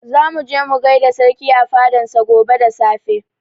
Za mu je mu gaida sarki a fadan sa gobe da safe